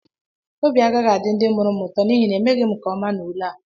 Obi agaghị adị ndị mụrụ m ụtọ n’ihi na emeghị m nke ọma n’ule a